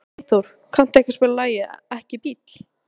Freyþór, kanntu að spila lagið „Ekki bíl“?